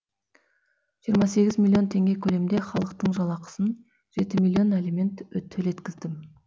жиырма сегіз миллион теңге көлемінде халықтың жалақысын жеті миллион алимент төлеткіздім